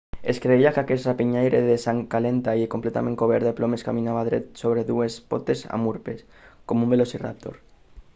es creia que aquest rapinyaire de sang calenta i completament cobert de plomes caminava dret sobre dues potes amb urpes com un velociraptor